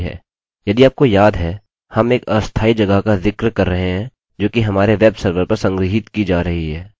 यदि आपको याद है हम एक अस्थायी जगह का जिक्र कर रहे हैं जो कि हमारे वेब सर्वर पर संग्रहीत की जा रही है